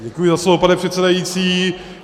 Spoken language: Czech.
Děkuji za slovo, pane předsedající.